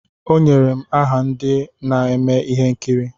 Onyere m aha ndị na-eme ihe nkiri.